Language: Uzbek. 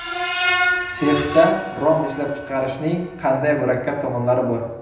Sexda rom ishlab chiqarishning qanday murakkab tomonlari bor?